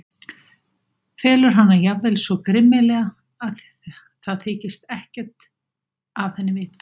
Felur hana jafnvel svo grimmilega að það þykist ekkert af henni vita.